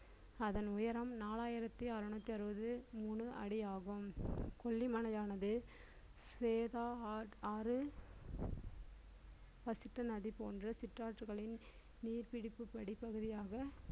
அதன் உயரம் நாலாயிரத்தி அறநூத்தி அறுபது மூணு அடியாகும் கொல்லிமலையானது வேதா ஆட்~ ஆறு பசித்த நதி போன்ற சிற்றாற்றுகளின் நீர் பிடிப்பு படி பகுதியாக